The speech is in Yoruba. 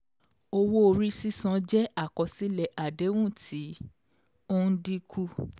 Owó-orí sísan jẹ́ àkọsílẹ̀ àdéhùn tí ó ń dín kù.